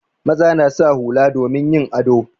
Maza na sa hula domin yin ado.